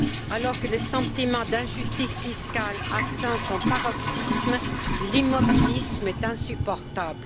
Alors que le sentiment d'injustice fiscale atteint son paroxysme, l'immobilisme est insupportable.